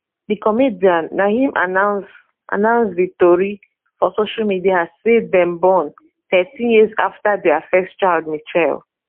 di comedian na im announce announce di tori for social media say dem born thirteen years afta dia first child michelle